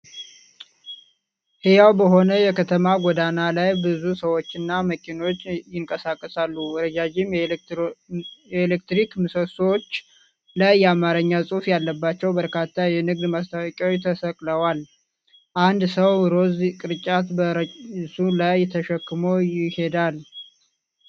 ሕያው በሆነ የከተማ ጎዳና ላይ ብዙ ሰዎችና መኪኖች ይንቀሳቀሳሉ። ረዣዥም የኤሌክትሪክ ምሰሶች ላይ የአማርኛ ጽሑፍ ያለባቸው በርካታ የንግድ ማስታወቂያዎች ተሰቅለዋል። አንድ ሰው ሮዝ ቅርጫት በራሱ ላይ ተሸክሞ ይሄዳል።